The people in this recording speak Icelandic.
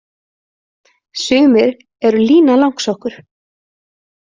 Sumir eru Lína langsokkur.